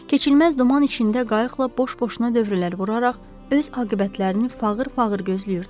Keçilməz duman içində qayıqla boş-boşuna dövrələr vuraraq öz aqibətlərini fağır-fağır gözləyirdilər.